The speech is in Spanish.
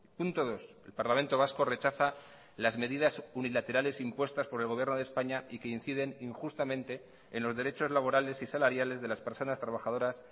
punto dos el parlamento vasco rechaza las medidas unilaterales impuestas por el gobierno de españa y que inciden injustamente en los derechos laborales y salariales de las personas trabajadoras